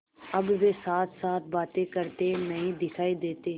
अब वे साथसाथ बातें करते नहीं दिखायी देते